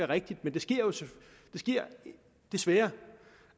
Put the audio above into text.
rigtigt men det sker desværre